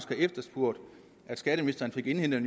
efterspurgt at skatteministeren fik indhentet